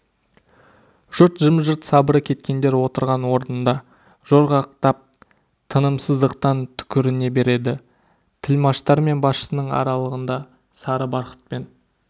жұрт жым-жырт сабыры кеткендер отырған орнында жорғақтап тынымсыздықтан түкіріне береді тілмаштар мен басшысының аралығында сары барқытпен